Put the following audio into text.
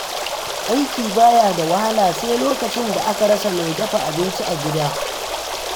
Aiki ba ya da wahala sai lokacin da aka rasa mai dafa abinci a gida.